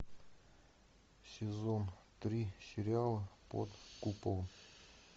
сезон три сериала под куполом